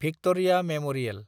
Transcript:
Victoria memorial